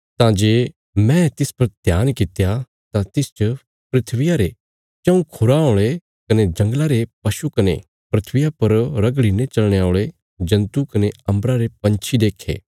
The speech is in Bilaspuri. तां जे मैं तिस पर ध्यान कित्या तां तिसच धरतिया रे चऊँ खुराँ औल़े कने जंगला रे पशु कने धरतिया पर रगड़ीने चलने औल़े जन्तु कने अम्बरा रे पंछी देखे